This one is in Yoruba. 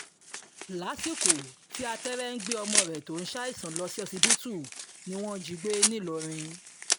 lásìkò tí àtẹ́rẹ́ ń gbé ọmọ rẹ̀ tó ń ṣàìsàn lọ ṣọsibítù ni wọ́n jí i gbé ńìlọrin